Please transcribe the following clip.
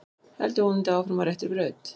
Heldur vonandi áfram á réttri braut